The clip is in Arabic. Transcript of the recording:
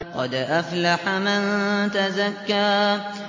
قَدْ أَفْلَحَ مَن تَزَكَّىٰ